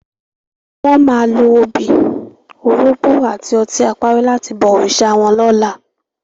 Wò má ló óbi, órógbò áti òtin àpári làti bò órisá wòn lòlá